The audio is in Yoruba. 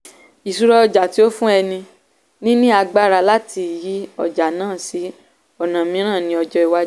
ìṣúra ọjà tí ó fún ẹni níní agbára láti yí ọjà náà sí ọ̀nà mìíràn ní ọjọ́ ìwájú.